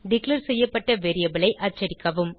declare செய்யப்பட்ட variable ஐ அச்சடிக்கவும்